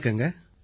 வணக்கங்க